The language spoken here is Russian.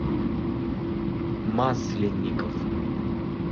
масленников